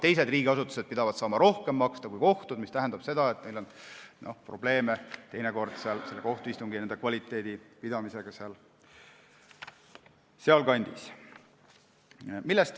Teised riigiasutused pidavat saama maksta rohkem kui kohtud, mis tähendab seda, et seal kandis on teinekord probleeme kohtuistungi kvaliteediga.